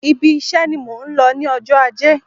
Ibi iṣe ni mò ń lọ ní ọjọ́ ajé.